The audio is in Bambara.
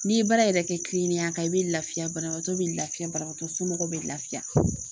N'i ye baara yɛrɛ kɛ kilenniya kan i bɛ lafiya banabagatɔ bɛ lafiya banabagatɔ somɔgɔw bɛ lafiya